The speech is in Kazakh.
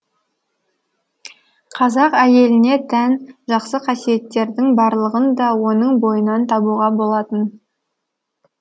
қазақ әйеліне тән жақсы қасиеттердің барлығын да оның бойынан табуға болатын